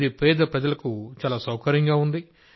ఇది పేద ప్రజలకు చాలా సౌకర్యంగా ఉంది